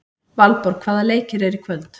Valborg, hvaða leikir eru í kvöld?